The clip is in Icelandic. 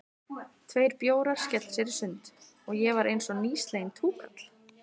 Tveir bjórar, skella sér í sund, og ég var einsog nýsleginn túkall.